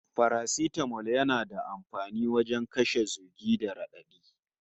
Farastamol yana da amfani wajen kashe zugi da raɗaɗi